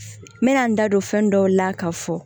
N bɛna n da don fɛn dɔw la ka fɔ